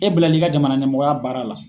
E bilal'i ka jamana ɲɛmɔgɔya baara la.